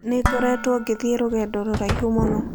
Nĩ ngoretwo ngĩthiĩ rũgendo rũraihu mũno.